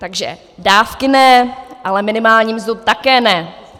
Takže dávky ne, ale minimální mzdu také ne.